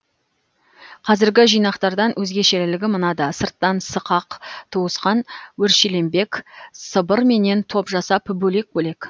қазіргі жинақтардан өзгешелігі мынада сырттан сықақ туысқан өршеленбек сыбырменен топ жасап бөлек бөлек